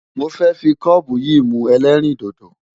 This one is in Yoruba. Mo fẹ́ fi kọ́ọ̀bù yìí mu ẹlẹ́rìndòdò.